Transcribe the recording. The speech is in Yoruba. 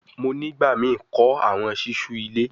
Mo nigbamii kọ awọn ṣiṣu ile